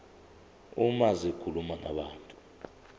uma zikhuluma nabantu